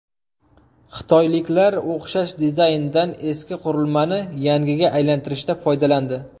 Xitoyliklar o‘xshash dizayndan eski qurilmani yangiga aylantirishda foydalandi.